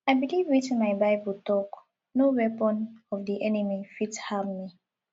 i beliv wetin my bible talk no weapon of di enemy fit harm me